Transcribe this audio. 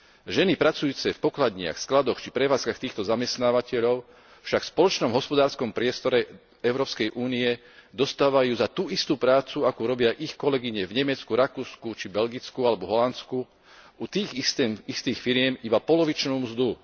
Ženy pracujúce v pokladniach, skladoch či prevádzkach týchto zamestnávateľov však v spoločnom hospodárskom priestore EÚ dostávajú zatú istú prácu, akú robia ich kolegyne v Nemecku, Rakúsku či Belgicku alebo Holandsku utých istých firiem, iba polovičnú mzdu.